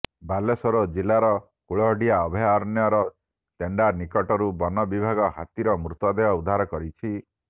ବାଲେଶ୍ୱର ଜିଲ୍ଲାର କୁଳଡ଼ିହା ଅଭୟାରଣ୍ୟର ତେଣ୍ଡା ନିକଟରୁ ବନ ବିଭାଗ ହାତୀର ମୃତଦେହ ଉଦ୍ଧାର କରିଛି